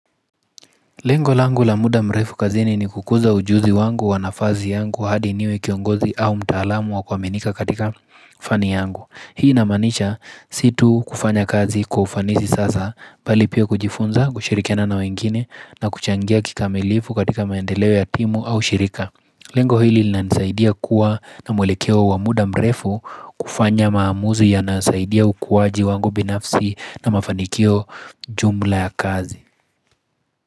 Lengo langu la muda mrefu kazini ni kukuza ujuzi wangu wa nafasi yangu hadi niwe kiongozi au mtaalamu wa kuaminika katika fani yangu. Hii namaanisha si tu kufanya kazi kwa ufanisi sasa mbali pia kujifunza kushirikiana na wengine na kuchangia kikamilifu katika maendeleo ya timu au shirika. Lengo hili linanisaidia kuwa na mwelekeo wa muda mrefu kufanya maamuzi yanayosaidia ukuwaji wangu binafsi na mafanikio jumla ya kazi.